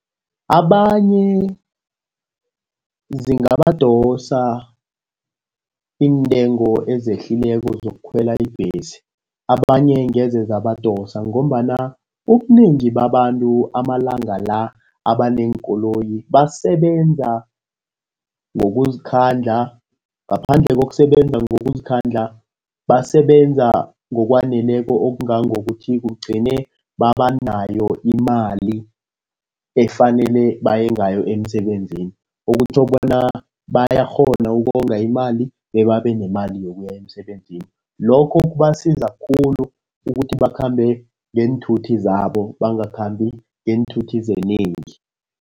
Abanye zingabadosa iintengo ezehlileko zokukhwela ibhesi, abanye ngeze zabadosa ngombana ubunengi babantu amalanga la abaneenkoloyi basebenza ngokuzikhandla, ngaphandle kokusebenza ngokuzikhandla, basebenza ngokwaneleko okungangokuthi kugcine babanayo imali efanele baye ngayo emsebenzini. Okutjho bona bayakghona ukonga imali, bebabe nemali yokuya emsebenzini. Lokho kubasiza khulu ukuthi bakhambe ngeenthuthi zabo, bangakhambi ngeenthuthi zenengi.